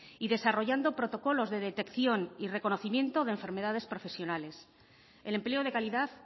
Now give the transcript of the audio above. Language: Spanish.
y desarrollando protocolos de detección y reconocimiento de enfermedades profesionales el empleo de calidad